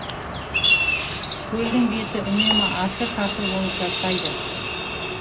көлдің беті үнемі асыр тасыр болып жатпайды